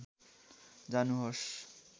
जानुहोस्